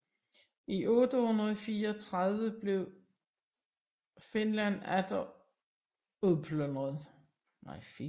I 834 blev Fisland atter udplyndret